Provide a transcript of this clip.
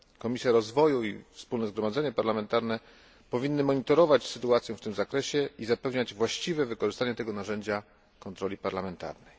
Komisja Rozwoju i Wspólne Zgromadzenie Parlamentarne powinny monitorować sytuację w tym zakresie i zapewniać właściwe wykorzystanie tego narzędzia kontroli parlamentarnej.